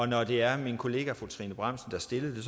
når det er min kollega fru trine bramsen der stillede det